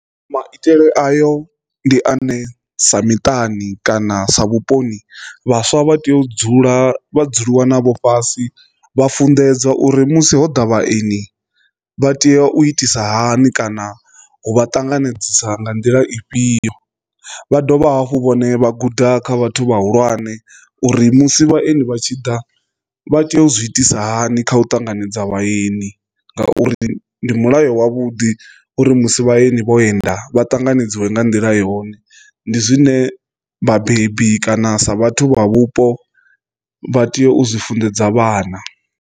Maitele ayo ndi ane sa miṱani kana sa vhuponi vhaswa vha tea u dzula vha dzuliwa navho fhasi vha funḓedzwa uri musi hoḓa vhaeni vha tea u itisa hani kana u vha ṱanganedzisa nga nḓila ifhio, vha dovha hafhu vhone vha guda kha vhathu vhahulwane uri musi vhaeni vha tshi ḓa vha tea u zwi itisa hani kha u ṱanganedza vhaeni ngauri ndi mulayo wavhuḓi uri musi vhaeni vho enda vha ṱanganedziwe nga nḓila yone, ndi zwine vhabebi kana sa vhathu vha vhupo vha tea u zwi funḓedza vhana.